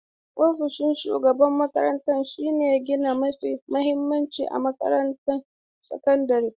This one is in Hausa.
Ofishin shugaban makarantar shine gini mafi mahimmanci a makarantun sakandare.